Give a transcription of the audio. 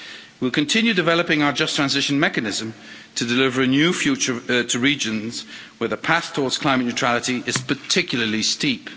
We will continue developing our Just Transition Mechanism to deliver a new future to regions where the path towards climate neutrality is particularly steep.